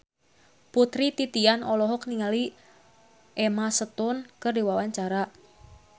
Putri Titian olohok ningali Emma Stone keur diwawancara